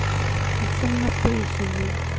а там написано